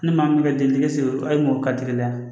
Ne ni maa min ka denkisɛ seginɔ ka teli